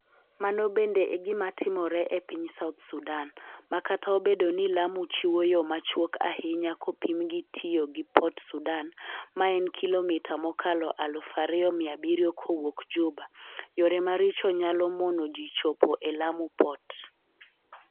Mano bende e gima timore e piny South Sudan, ma kata obedo ni Lamu chiwo yo machuok ahinya kopim gi tiyo gi Port Sudan, ma en kilomita mokalo 2,700 kowuok Juba, yore maricho nyalo mono ji chopo e Lamu Port.